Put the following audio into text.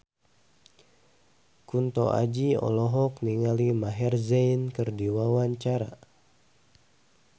Kunto Aji olohok ningali Maher Zein keur diwawancara